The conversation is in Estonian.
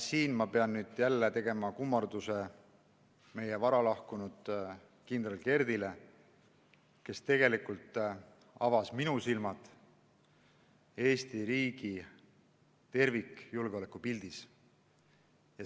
Siin ma pean nüüd jälle tegema kummarduse varalahkunud kindral Kerdile, kes tegelikult avas minu silmad Eesti riigi tervikjulgeoleku pildile.